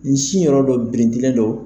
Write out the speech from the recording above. N sin yɔrɔ dɔ brindilen don.